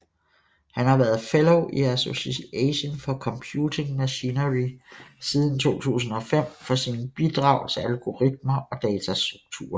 Han har været fellow i Association for Computing Machinery siden 2005 for sine bidrag til algoritmer og datastrukturer